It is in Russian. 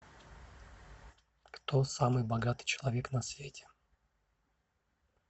кто самый богатый человек на свете